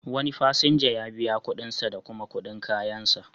Wani fasinja ya biya kuɗin sa da kuma kuɗin kayansa.